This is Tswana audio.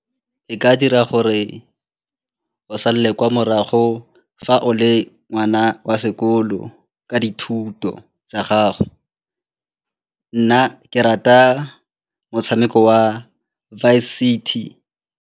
E ka dira gore o salele kwa morago fa o le ngwana wa sekolo ka dithuto tsa gago. Nna ke rata motshameko wa Vice City.